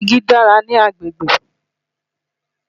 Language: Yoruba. Igi dára ní agbègbè.